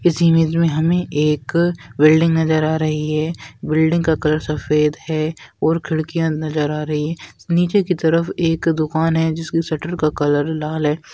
इस इमेज में हमें एक बिल्डिंग नजर आ रही है बिल्डिंग का कलर सफेद है और खिड़किया नजर आ रही है निचे की तरफ एक दुकान है जिसकी शटर का कलर लाल है।